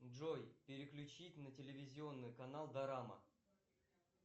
джой переключить на телевизионный канал дорама